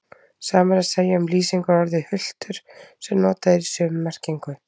Sama er að segja um lýsingarorðið hultur sem notað er í sömu merkingu.